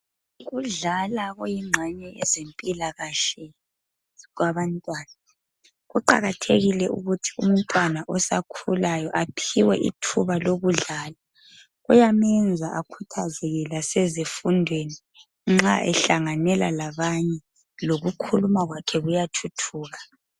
Ukudlala kuyingxenye yezempilakahle kwabantwana .Kuqakathekile ukuthi umntwana osakhulayo aphiwe ithuba lokudlala .Kuyamenza akhuthazeke lasezifundweni nxa ehlanganela labanye .Lokukhuluma kwakhe kuyathuthuka .